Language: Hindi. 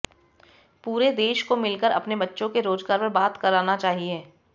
पूरे देश को मिलकर अपने बच्चों के रोजगार पर बात करना चाहिए